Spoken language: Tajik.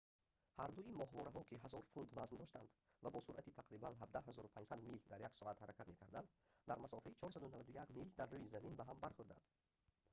ҳардуи моҳвораҳо ки 1000 фунт вазн доштанд ва бо суръати тақрибан 17 500 мил/соат ҳаракат мекарданд дар масофаи 491 мил дар рӯи замин ба ҳам бархӯрданд